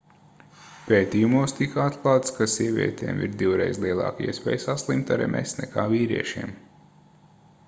pētījumos tika atklāts ka sievietēm ir divreiz lielāka iespēja saslimt ar ms nekā vīriešiem